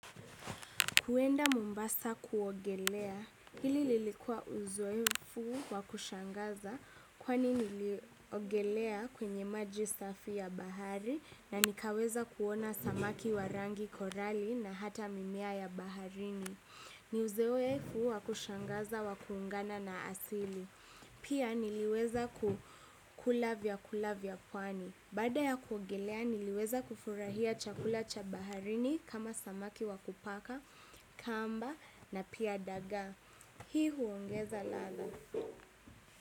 Kuenda Mombasa kuogelea, hili lilikua uzoefu wa kushangaza kwani niliogelea kwenye maji safi ya bahari na nikaweza kuona samaki wa rangi korali na hata mimea ya baharini. Ni uzoefu wa kushangaza wa kuungana na asili. Pia niliweza ku kula vyakula vya pwani. Baada ya kuogelea niliweza kufurahia chakula cha baharini kama samaki wa kupaka kamba na pia dagaa. Hii huongeza ladha.